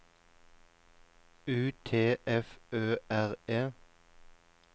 U T F Ø R E